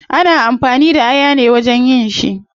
Ana amfani da aya ne wajen yin shi